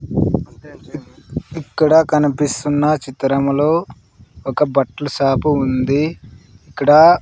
ఇక్కడ కనిపిస్తున్న చిత్రములో ఒక బట్ల షాపు ఉంది ఇక్కడా--